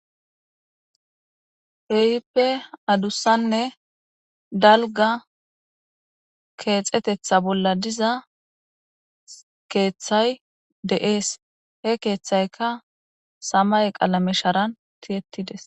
Kehippe adussanne dalga keexetetha bolla diza keeththay deees he keeththayka samay qalamesharan tiyettides.